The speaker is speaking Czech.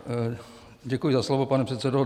Děkuji za slovo, pane předsedo.